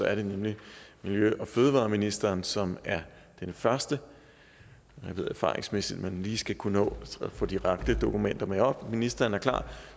er det nemlig miljø og fødevareministeren som er den første jeg ved erfaringsmæssigt at man lige skal kunne nå at få de rette dokumenter med op ministeren er klar